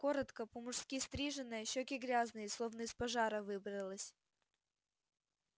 коротко по-мужски стриженная щеки грязные словно из пожара выбралась